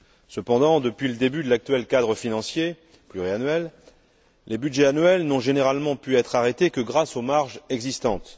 Cependant, depuis le début de l'actuel cadre financier pluriannuel, les budgets annuels n'ont généralement pu être arrêtés que grâce aux marges existantes.